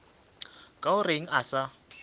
ka o reng a sa